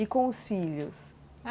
E com os filhos?